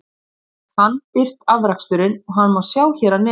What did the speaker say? Nú hefur hann birt afraksturinn og hann má sjá hér að neðan.